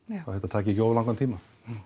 að þetta taki ekki of langan tíma